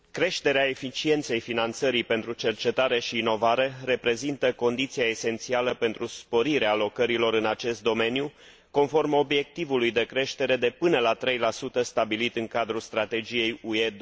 Creșterea eficienței finanțării pentru cercetare și inovare reprezintă condiția esențială pentru sporirea alocărilor în acest domeniu conform obiectivului de creștere de până la 3 stabilit în cadrul Strategiei UE